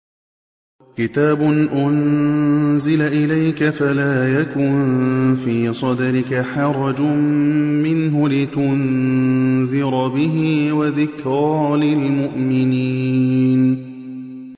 كِتَابٌ أُنزِلَ إِلَيْكَ فَلَا يَكُن فِي صَدْرِكَ حَرَجٌ مِّنْهُ لِتُنذِرَ بِهِ وَذِكْرَىٰ لِلْمُؤْمِنِينَ